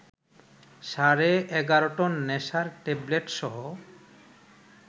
সাড়ে ১১ টন নেশার ট্যাবলেটসহ